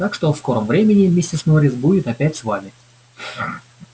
так что в скором времени миссис норрис будет опять с вами